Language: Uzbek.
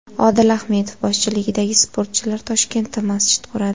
Odil Ahmedov boshchiligidagi sportchilar Toshkentda masjid quradi .